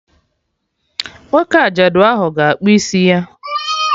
Nwoke ajadu ahụ ga-akpụ isi ya!